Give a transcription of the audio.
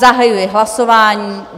Zahajuji hlasování.